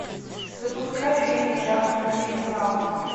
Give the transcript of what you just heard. запускай фильм жанр криминал